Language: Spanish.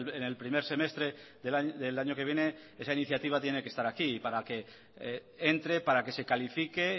en el primer semestre del año que viene esa iniciativa tiene que estar aquí para que entre para que se califique